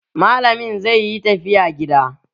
Malamin zai yi tafiya gida.